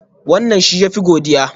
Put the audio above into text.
Wannan shi ya fi godiya?